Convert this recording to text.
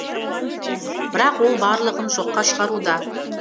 бірақ ол барлығын жоққа шығаруда